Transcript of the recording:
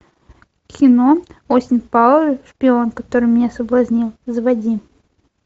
кино остин пауэрс шпион который меня соблазнил заводи